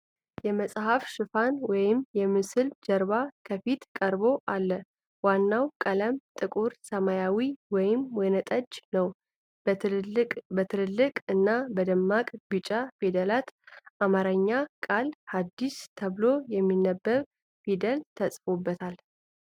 የመፅሐፍ ሽፋን ወይም የምስል ጀርባ ከፊት ቀርቦ አለ። ዋናው ቀለም ጥቁር ሰማያዊ ወይም ወይንጠጅ ነው። በትልልቅ እና በደማቅ ቢጫ ፊደላት የአማርኛ ቃል 'ሃዲስ' ተብሎ የሚነበብ ፊደል ተጽፎበታል።